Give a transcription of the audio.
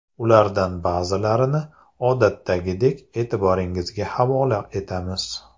Ulardan ba’zilarini, odatdagidek, e’tiboringizga havola etamiz.